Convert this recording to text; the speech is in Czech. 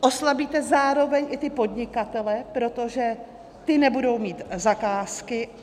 Oslabíte zároveň i ty podnikatele, protože ti nebudou mít zakázky.